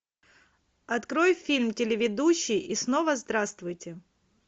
открой фильм телеведущий и снова здравствуйте